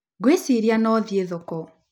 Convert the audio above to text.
Ngwĩciria no thiĩ thoko.